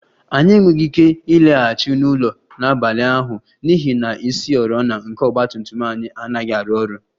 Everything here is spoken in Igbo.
Anyị enweghị ike ịlaghachi n'ụlọ n'abalị ahụ n'ihi na isioriọna nke ọgba tum tum anyị anaghị arụ ọrụ